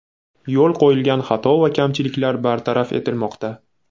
Yo‘l qo‘yilgan xato va kamchiliklar bartaraf etilmoqda.